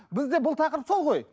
бізде бұл тақырып сол ғой